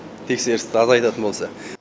тексерісті азайтатын болса